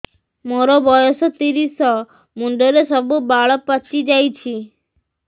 ମୋର ବୟସ ତିରିଶ ମୁଣ୍ଡରେ ସବୁ ବାଳ ପାଚିଯାଇଛି